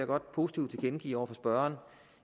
godt positivt tilkendegive over for spørgeren